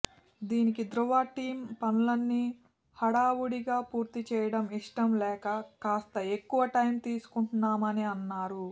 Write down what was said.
దీనికి ధృవ టీమ్ పనులన్నీ హడావకుడిగా పూర్తి చేయడం ఇష్టం లేక కాస్త ఎక్కువ టైమ్ తీసుకుంటున్నామని అన్నారు